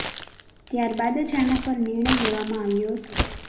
ત્યાર બાદ જ આના પર નિર્ણય લેવામાં આવ્યો હતો